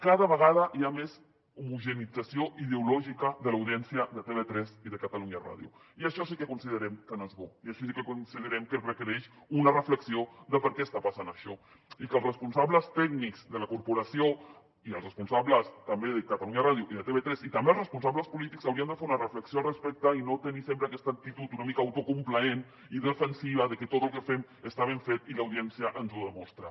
cada vegada hi ha més homogeneïtzació ideològica de l’audiència de tv3 i de catalunya ràdio i això sí que considerem que no és bo i així sí que considerem que es requereix una reflexió de per què està passant això i que els responsables tècnics de la corporació i els responsables també de catalunya ràdio i de tv3 i també els responsables polítics haurien de fer una reflexió al respecte i no tenir sempre aquesta actitud una mica autocomplaent i defensiva de que tot el que fem està ben fet i l’audiència ens ho demostra